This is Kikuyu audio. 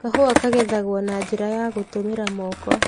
Kahũwa ka gethagwo na njĩra ya gũtũmĩra Moko.